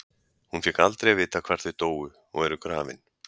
Hún fékk aldrei að vita hvar þau dóu og eru grafin.